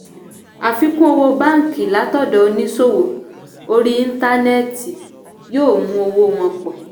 àfikún owó báńkì látọ̀dọ̀ oníṣòwò orí íńtánẹ́ẹ̀tì yóò mú owó wọn pọ̀.